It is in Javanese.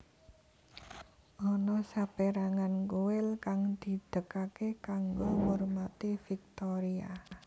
Ana saperangan kuil kang didegake kanggo ngurmati Viktoria